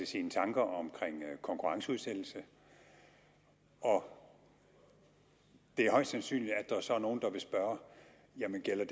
sine tanker om konkurrenceudsættelse og det er højst sandsynligt at der så er nogle der vil spørge jamen gælder